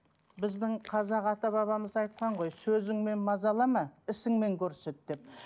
біздің қазақ ата бабамыз айтқан ғой сөзіңмен мазалама ісіңмен көрсет деп